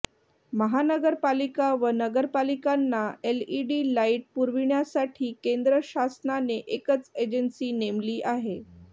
महानगरपालिका व नगरपालिकांना एलईडी लाइट पुरविण्यासाठी केंद्र शासनाने एकच एजन्सी नेमली आहे